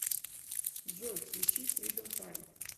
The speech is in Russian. джой включи фридом фрай